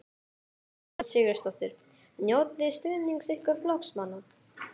Sunna Karen Sigurþórsdóttir: Njótiði stuðnings ykkar flokksmanna?